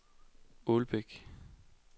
Ålbæk